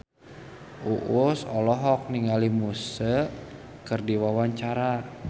Uus olohok ningali Muse keur diwawancara